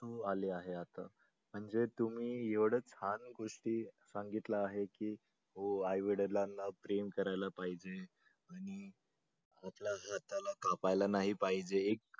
अश्रू आले आहे आता म्हणजे तुम्ही एवढं छान गोष्टी सांगितल्या आहे की हो आई वडिलांना प्रेम करायला पाहिजे नाही पाहिजे